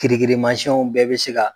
Kirikirimansiyɛnw bɛɛ be se ka